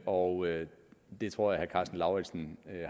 og det tror jeg karsten lauritzen